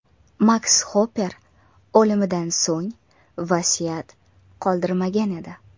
Maks Xopper o‘limidan so‘ng vasiyat qoldirmagan edi.